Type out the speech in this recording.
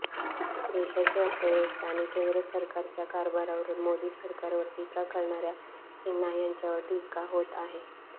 देशाची अर्थव्यवस्था आणि केंद्र सरकारच्या कारभारावरुन मोदी सरकारवर टीका करणाऱया सिन्हा यांच्यावर टीका होत आहे